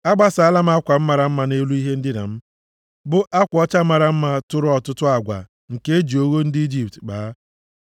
Agbasaala m akwa mara mma nʼelu ihe ndina m, bụ akwa ọcha mara mma tụrụ ọtụtụ agwa nke e ji ogho ndị Ijipt kpaa.